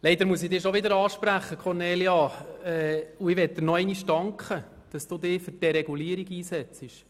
Leider muss ich Sie schon wieder ansprechen, Kornelia Hässig, und ich möchte mich noch einmal bei Ihnen bedanken, dass Sie sich für die Deregulierung einsetzen.